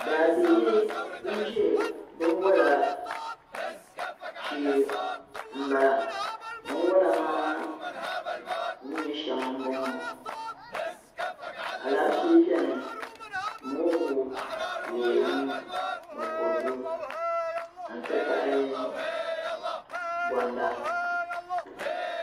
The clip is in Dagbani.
Daa bihi ban ʒe binwɔla shee m-bala binwɔla maa ni nyɛ shɛŋa m-bɔŋɔ alaafee beni mongu leemu ni kɔdu n-ti pahi gonda.